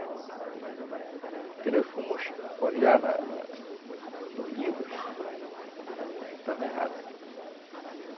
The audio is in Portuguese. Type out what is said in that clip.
E aí... Quando nós fomos olhar na na nos livros, estava errado.